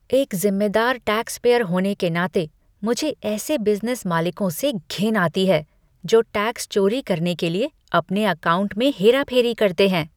एक ज़िम्मेदार टैक्सपेयर होने के नाते, मुझे ऐसे बिज़नेस मालिकों से घिन आती है जो टैक्स चोरी करने के लिए अपने अकाउंट में हेरा फेरी करते हैं।